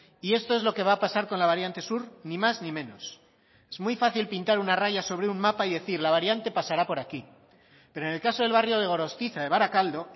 y esto es lo que va a pasar con la variante sur ni más ni menos es muy fácil pintar una raya sobre un mapa y decir la variante pasará por aquí pero en el caso del barrio de gorostiza de barakaldo